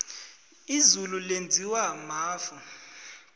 izulu lenziwa mafu